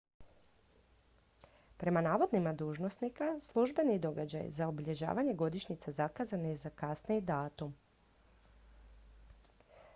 prema navodima dužnosnika službeni događaj za obilježavanje godišnjice zakazan je za kasniji datum